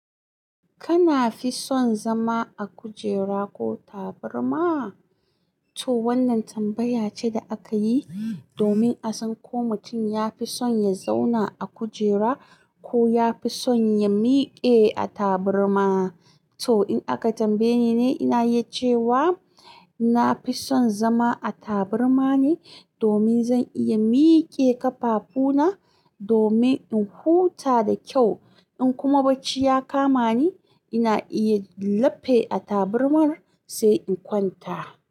Kana fi son zama a kujera ko taburma? To wannan tambaya ce da akayi domin a san ko mutum ya fi son ya zauna a kujera ko ya fi son ya miƙe a tabarma. To in aka tambaye ni ne, ina yi cewa ina fi son zama a tabarma ne domin zan iya miƙe ƙafafuna domin in huta da kyau. In kuma bacci ya kama ni, ina iya lafe a taburmar sai in kwanta.